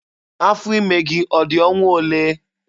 Afọ ime gị ọ dị ọnwa olee?